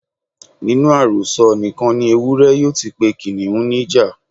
Nínú àròsọ nìkan ni Ewúré yóò ti pe Kìnnìún ní ìjà.